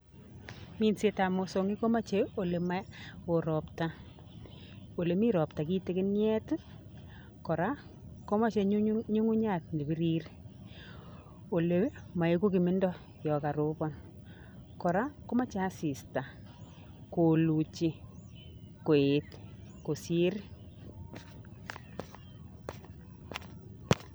Minsetab mosong'ik komoche olema oo ropta olimi ropta kitikiniet kora komoche ng'ung'unyat nebirir ole maiku kimindo yo koropon kora komoche asista koluchi koet kosir.